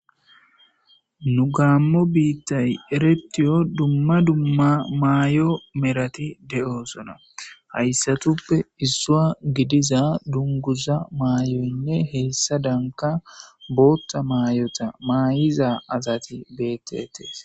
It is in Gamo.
nu gaammo biittay eretiyo dumma dumma maay7o merati de7oosona hayssatuppe issoa gidiza dunguza maayoynne heessa danka bootta maayota maay7iza asati betetees